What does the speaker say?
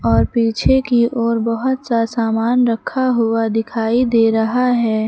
और पीछे की ओर बहोत सा सामान रखा हुआ दिखाई दे रहा है।